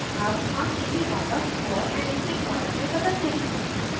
अब हम इसे वापस ball and stick model में बदलते हैं